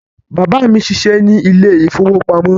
Bàbá mí n ṣiṣẹ ní ile-ìfowópamó